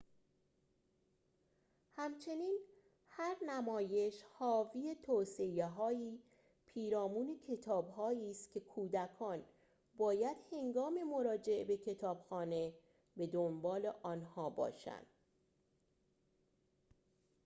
همچنین هر نمایش حاوی توصیه‌هایی پیرامون کتابهایی است که کودکان باید هنگام مراجعه به کتابخانه به دنبال آنها باشند